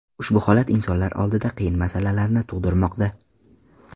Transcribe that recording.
Ushbu holat insonlar oldida qiyin masalalarni tug‘dirmoqda.